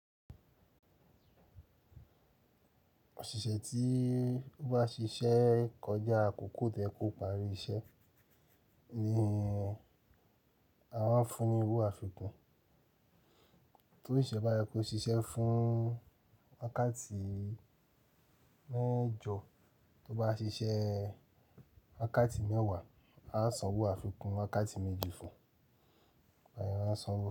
Òṣìṣẹ́ tí ó bá ṣiṣẹ́ kọjá àkókò tí o yẹ kó parí iṣẹ́ ni a máa ń fún ní owó àfikún. To siṣe bá yẹ kó ṣiṣẹ́ fún wákàtí mẹ́jọ, tó bá ṣiṣẹ́ wákàtí mẹ́wàá, a san owó àfikún wákàtí méjì fún un.